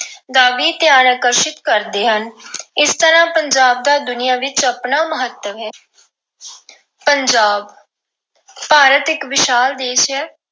ਦਾ ਵੀ ਧਿਆਨ ਆਕਸ਼ਿਤ ਕਰਦੇ ਹਨ। ਇਸ ਤਰ੍ਹਾਂ ਪੰਜਾਬ ਦਾ ਦੁਨੀਆਂ ਵਿੱਚ ਆਪਣਾ ਮਹੱਤਵ ਹੈ। ਪੰਜਾਬ ਭਾਰਤ ਇੱਕ ਵਿਸ਼ਾਲ ਦੇਸ਼ ਹੈ।